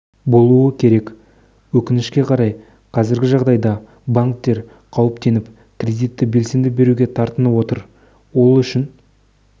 болуы керек өкінішке қарай қазіргі жағдайда банктер қауіптеніп кредитті белсенді беруге тартынып отыр ол үшін